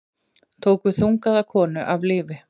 Tóku þungaða konu af lífi